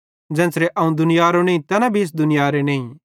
ज़ेन्च़रे अवं दुनियारो नईं तैन भी इस दुनियारे नईं